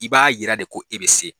I b'a yira de ko e bɛ se.